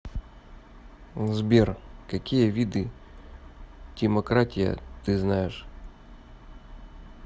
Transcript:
сбер какие виды тимократия ты знаешь